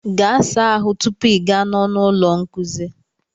Gaa saa ahụ tupu I gaa n'ọnụ ụlọ nkuzi